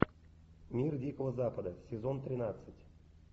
мир дикого запада сезон тринадцать